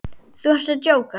Þú ert að djóka?